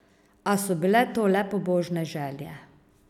A so bile to le pobožne želje.